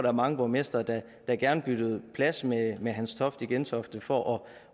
er mange borgmestre der gerne byttede plads med med hans toft i gentofte for